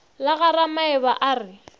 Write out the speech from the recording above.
la ga ramaeba a re